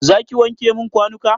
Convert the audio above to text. Zaki wanke min kwanuka?